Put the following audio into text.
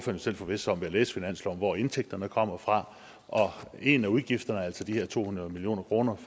jo selv forvisse sig om ved at læse i finansloven hvor indtægterne kommer fra en af udgifterne er altså de her to hundrede million kroner